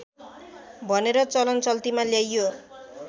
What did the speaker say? भनेर चलनचल्तीमा ल्याइयो